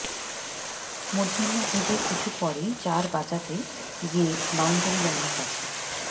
মধ্যাহ্নভোজের কিছু পরেই চার বাঁচাতে গিয়ে বাউন্ডারি লাইনের কাছে